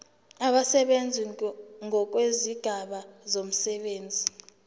abasebenzi ngokwezigaba zomsebenzi